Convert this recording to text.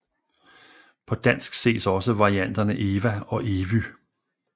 På dansk ses også varianterne Ewa og Evy